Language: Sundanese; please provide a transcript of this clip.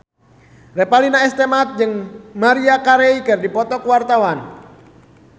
Revalina S. Temat jeung Maria Carey keur dipoto ku wartawan